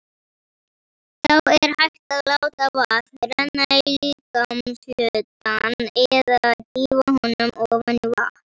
Þá er hægt að láta vatn renna á líkamshlutann eða dýfa honum ofan í vatn.